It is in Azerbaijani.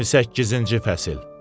28-ci fəsil.